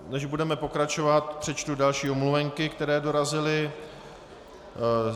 Než budeme pokračovat, přečtu další omluvenky, které dorazily.